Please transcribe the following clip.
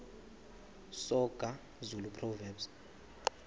soga zulu proverbs